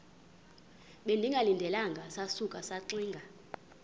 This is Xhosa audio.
bengalindelanga sasuka saxinga